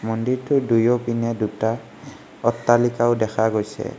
মন্দিৰটোৰ দুয়োপিনে দুটা অট্টালিকাও দেখা গৈছে।